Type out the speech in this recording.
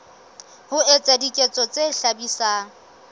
ho etsa diketso tse hlabisang